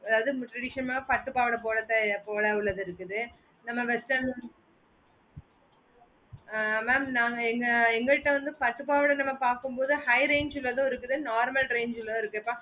அதாவது tradition ஆஹ் பட்டு பாவடை போலயே போல உள்ளது இருக்குது நம்ம western ஆஹ் mam நாங்க இந்த பட்டு பாவாடை பக்க மோடு high range லயோ இருக்கு normal range லயோ இருக்கு mam